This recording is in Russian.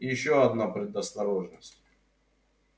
и ещё одна предосторожность